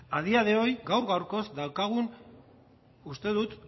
a día de hoy gaur gaurkoz daukagu uste dut